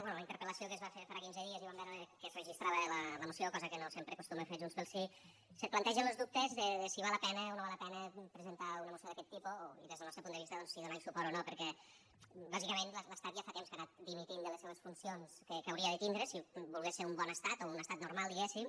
bé la interpel·lació que es va fer farà quinze dies i vam veure que es registrava la moció cosa que no sempre acostuma a fer junts pel sí se plantegen los dubtes de si val la pena o no val la pena presentar una moció d’aquest tipus i des del nostre punt de vista doncs si donar hi suport o no perquè bàsicament l’estat ja fa temps que ha anat dimitint de les seues funcions que hauria de tindre si volgués ser un bon estat o un estat normal diguéssim